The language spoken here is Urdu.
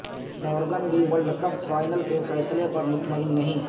مورگن بھی ورلڈ کپ فائنل کے فیصلے پر مطمئن نہیں